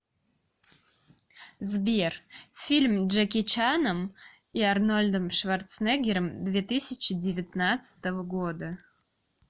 сбер фильм джеки чаном и арнольдом шварценеггером две тысячи девятнадцатого года